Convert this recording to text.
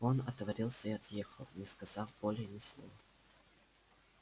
он отворотился и отъехал не сказав более ни слова